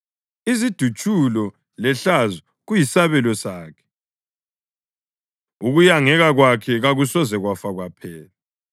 Izidutshulo lehlazo kuyisabelo sakhe, ukuyangeka kwakhe kakusoze kwafa kwaphela.